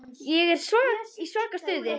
Ég er í svaka stuði.